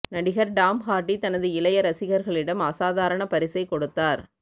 நடிகர் Tom Hardy தனது இளைய ரசிகர்களிடம் அசாதாரண பரிசை கொடுத்தார்